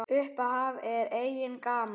Upphaf er í eigu GAMMA.